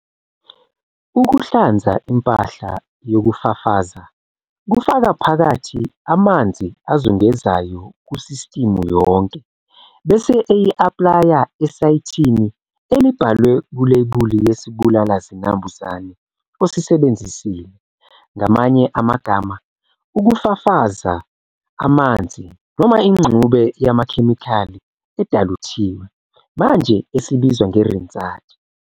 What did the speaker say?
Ukuhlanza impahla yokufafaza kufaka phakatha amazi azungezayo kusistimu yonke bese eyi-aplaya esayithini elibhalwe kulebuli yesibulala zinambuzane osisebenzisile, ngamanye amagama, ukufafaza amanzi noma ingxube yamakhemikhali edaluthiwe, manje esibizwa nge-rinsate.